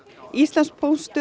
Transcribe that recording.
Íslandspóstur